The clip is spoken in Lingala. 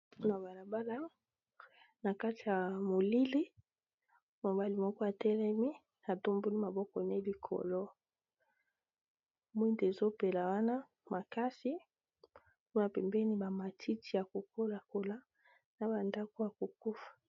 Na balabala na kati ya molili mobali moko atelemi atombuli maboko ne likolo, mwinae ezopela wana makasi kuna pembeni bamatiti ya kokola-kola na bandako ya kokufa.